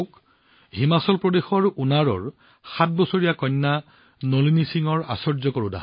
চাওক হিমাচল প্ৰদেশৰ উনাৰ ৭ বছৰীয়া কন্যা নলিনী সিঙৰ আশ্চৰ্য্য